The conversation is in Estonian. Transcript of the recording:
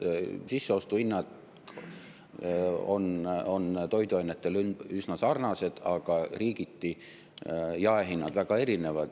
Sisseostuhinnad on toiduainetel üsna sarnased, aga riigiti jaehinnad väga palju erinevad.